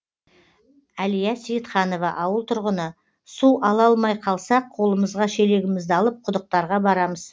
әлия сейітханова ауыл тұрғыны су ала алмай қалсақ қолымызға шелегімізді алып құдықтарға барамыз